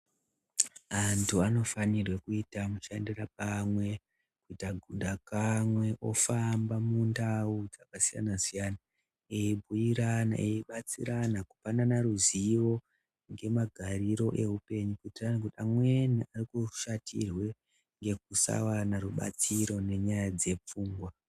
Antu anofanirwe kuita mushandira pamwe kuita gunda pamwe, ofamba mundau dzakasiyana siyana eibhuirana, eibatsirana kupanana ruzivo ngemagariro eupenyu kuti antu amweni arikushatirwe ngekusawana rubatsiro ngenyaya dzepfungwa.